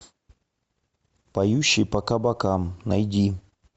поющий по кабакам найди